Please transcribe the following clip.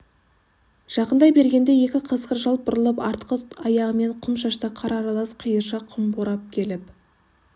жақындай бергенде екі қасқыр жалт бұрылып артқы аяғымен құм шашты қар аралас қиыршақ құм борап келіп